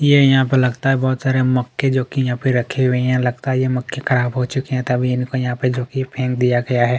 ये यहाँ पे लगता है यहाँ पे बहुत सारे मक्के जो कि यहाँ पे रखे हुए है लगता है ये मक्के खराब हो चुके है तभी इनको यहाँ पे जो की फेंक दिया गया है।